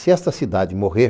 Se esta cidade morrer,